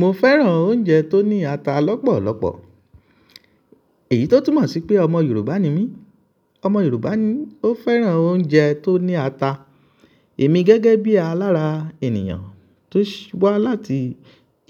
Mo fẹ́ràn oúnjẹ tó ní ata lọ́pọ̀lọ́pọ̀. Èyí tó túmọ̀ sí pé ọmọ Yorùbá ni mí. Ọmọ Yorùbá ni ó fẹ́ràn oúnjẹ tó ní ata. Èmi gẹ́gẹ́ bí alára ènìyàn tó wá láti